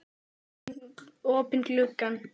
Kana út um opinn glugga.